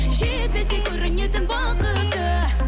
жетпесек көрінетін бақытты